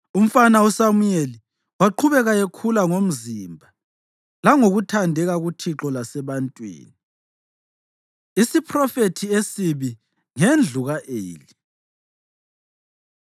Umfana uSamuyeli waqhubeka ekhula ngomzimba langokuthandeka kuThixo lasebantwini. Isiphrofethi Esibi Ngendlu Ka-Eli